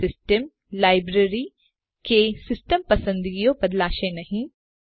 કોઈપણ system library કે system પસંદગીઓ બદલાશે નહી